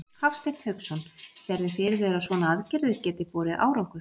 Hafsteinn Hauksson: Sérðu fyrir þér að svona aðgerðir geti borið árangur?